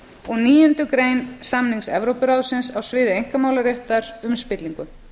og níundu greinar samnings evrópuráðsins á sviði einkamálaréttar um spillingu